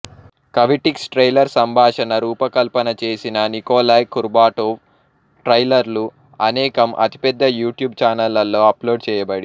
కవిటిక్స్ trailer సంభాషణ రూపకల్పన చేసిన నికోలాయ్ కుర్బాటోవ్ ట్రైలర్లు అనేకం అతిపెద్ద యూ ట్యూబ్ ఛానళ్ళలో అప్లోడ్ చేయబడి